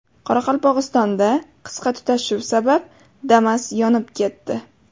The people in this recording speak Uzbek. Qoraqalpog‘istonda qisqa tutashuv sabab Damas yonib ketdi.